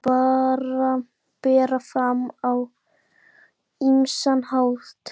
Þennan rétt má bera fram á ýmsan hátt.